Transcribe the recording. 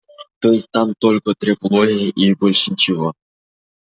то есть там только трепология и больше ничего